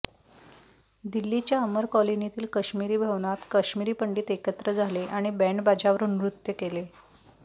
दिल्लीच्या अमर कॉलनीतील काश्मिरी भवनात काश्मिरी पंडित एकत्र झाले आणि बँडबाजावर नृत्य केले